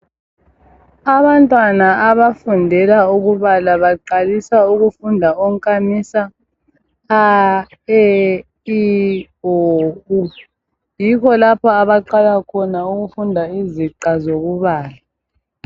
Abantwana abafundela ukubala baqalisa ukufunda onkamisa a e i o u yikho lapha abaqala khona ukufunda iziqa zokubala.